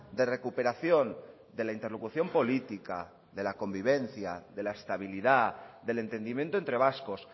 de recuperación de la interlocución política de la convivencia de la estabilidad del entendimiento entre vascos